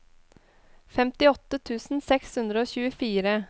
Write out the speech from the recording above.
femtiåtte tusen seks hundre og tjuefire